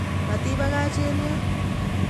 Matibakach eng yon